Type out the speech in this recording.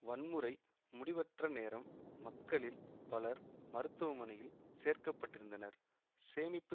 வன்முறை முடிவற்ற நேரம் மக்களில் பலர் மருத்துமனையில் சேர்க்கப்பட்டிருந்தனர் சேமிப்பு